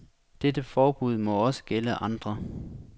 Dette forbud må også gælde andre.